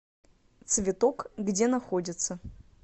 цветок где находится